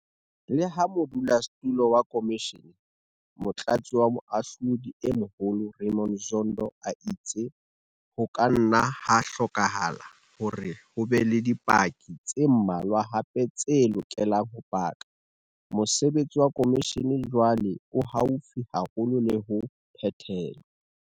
Leha modulasetulo wa khomishene, Motlatsi wa Moahlodi e Moholo Raymond Zondo a itse ho ka nna ha hlokahala hore ho be le dipaki tse mmalwa hape tse lokelang ho paka, mosebetsi wa khomishene jwale o haufi haholo le ho phethelwa.